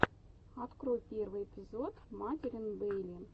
открой первый эпизод маделин бейли